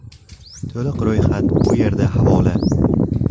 To‘liq ro‘yxat bu yerda havola .